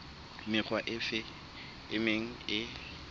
mekga efe e meng e